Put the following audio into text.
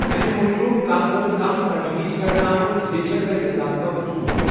امی موٗجوٗب کم کھوتہٕ کم تَجویٖز کرنہٕ آمُت زیچھر گژھہِ لگ بگ ژۄر.